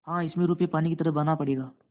हाँ इसमें रुपये पानी की तरह बहाना पड़ेगा